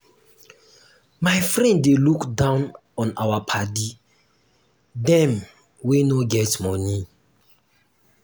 my friend dey look down on our paddy dem wey no get moni.